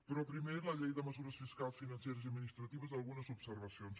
però primer la llei de mesures fiscals financeres i administratives algunes observacions